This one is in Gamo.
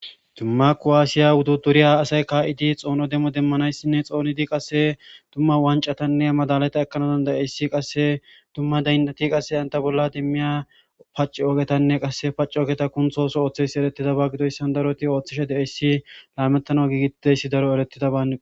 Dumma kuwasiya wudidiriya asayi kaid xono demo demanayisinne xonanayisinne demo demanayisinne qase dumma waniccatanne madhaliya ekanayis qase dumma dayinat qase pacogetan e qasekka paccogeta kunththisiyoyisa gididoyisa daroti ooththishe deosoona lametanas gigetidayis daro eretidabakko